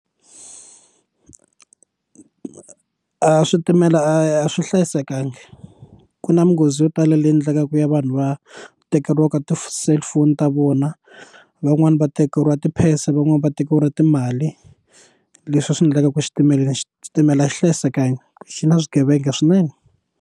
switimela a swi hlayisekanga ku na minghozi yo tala leyi endlekaka ya vanhu va tekeriwaka ti cellphone ta vona van'wani va tekeriwa ti phese van'wani va tekeriwa timali leswi swi endlaka ku xitimela xi xitimela xi hlayisekanga xi na swigevenga swinene.